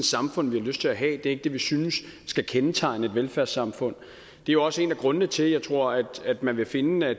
samfund vi har lyst til at have det er ikke det vi synes skal kendetegne et velfærdssamfund det er også en af grundene til at jeg tror at man vil finde at